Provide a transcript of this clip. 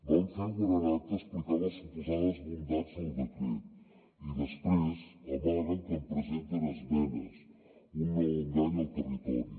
van fer un gran acte explicant les suposades bondats del decret i després amaguen que hi presenten esmenes un nou engany al territori